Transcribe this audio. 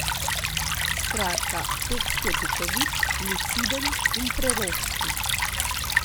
Skratka, tekst je duhovit, luciden in preroški.